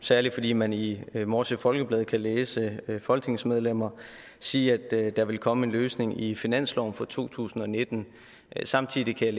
særlig fordi man i morsø folkeblad kan læse folketingsmedlemmer sige at der vil komme en løsning i finansloven for to tusind og nitten samtidig kan